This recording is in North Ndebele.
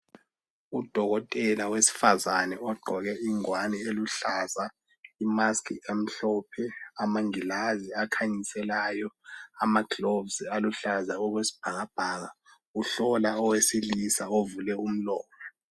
Udokotela wesifazane ogqoke ingwani eluhlaza, imask emhlophe, amangilazi akhanyiselayo, amagloves aluhlaza okwesbhakabhaka, uhlola owesilisa ovule umlomo.